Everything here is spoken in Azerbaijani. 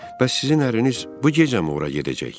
Bəs sizin ərniz bu gecəmi ora gedəcək?